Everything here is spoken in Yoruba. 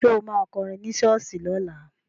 Ṣo ma kọrin ní ṣọ́ọ̀ṣì lọ́la?